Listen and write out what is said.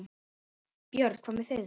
Björn: Hvað með þig?